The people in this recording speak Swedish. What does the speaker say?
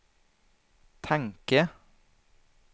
tanke